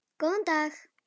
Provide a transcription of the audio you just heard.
Góðan dag!